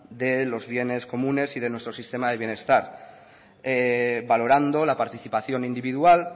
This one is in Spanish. de los bienes comunes y de nuestro sistema del bienestar valorando la participación individual